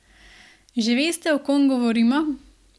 Že veste o kom govorimo?